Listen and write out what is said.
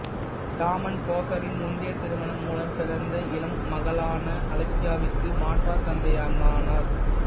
டாமன் போஸானின் முந்தைய திருமணம் மூலம் பிறந்த இளம் மகளான அலெக்ஸியாவிற்கு மாற்றாந்தந்தையாக ஆனார்